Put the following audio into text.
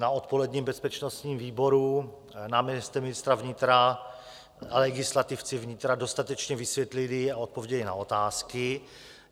Na odpoledním bezpečnostním výboru náměstek ministra vnitra a legislativci vnitra dostatečně vysvětlili a odpověděli na otázky.